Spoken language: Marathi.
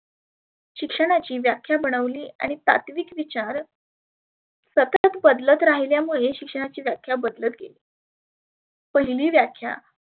शिक्षणाची व्याख्या बनवली आणि सात्विक विचार सतत बदलत राहिल्यामुळे शिक्षणाची व्याख्या बदलत गेली. पहिली व्याख्या